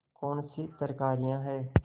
कौनसी तरकारियॉँ हैं